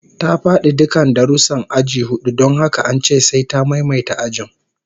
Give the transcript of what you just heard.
Ta fadi dukkan darussan aji hudu don haka an ce sai ta maimaita ajin